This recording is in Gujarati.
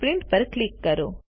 પ્રિન્ટ પર ક્લિક કરો